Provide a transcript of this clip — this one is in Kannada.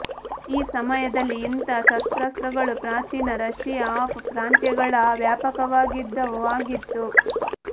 ಈ ಸಮಯದಲ್ಲಿ ಇಂಥ ಶಸ್ತ್ರಾಸ್ತ್ರಗಳು ಪ್ರಾಚೀನ ರಶಿಯಾ ಆಫ್ ಪ್ರಾಂತ್ಯಗಳ ವ್ಯಾಪಕವಾಗಿದ್ದವು ಆಗಿತ್ತು